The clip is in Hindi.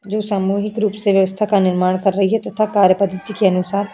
जो सामुहिक रूप से व्यवस्था का निर्माण कर रही है तथा कार्य पद्धति के अनुसार --